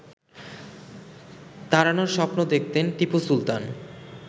তাড়ানোর স্বপ্ন দেখতেন টিপু সুলতান